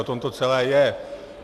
O tom to celé je.